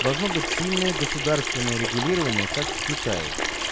должно быть сильное государственное регулирование как в китае